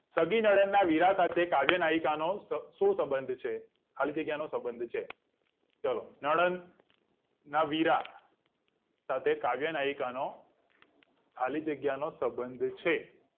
સગી નડદના વીરા સાથે કાવ્ય નાઈકાનો સુ સબંધ છે ખાલી જગ્યાનો સબંધ છે ચલો નડદ ના વીરા કાવ્ય નાઈકાનો ખાલી જગ્યાનો સબંધ છે